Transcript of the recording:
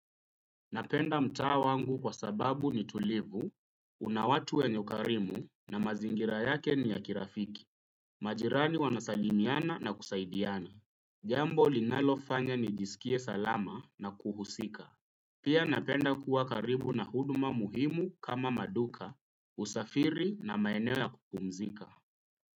Napenda mtaa wangu kwa sababu ni tulivu, una watu wenye ukarimu na mazingira yake ni ya kirafiki, majirani wanasalimiana na kusaidiana. Jambo linalofanya nijisikie salama na kuhusika. Pia napenda kuwa karibu na huduma muhimu kama maduka, usafiri na maeneo ya kupumzika.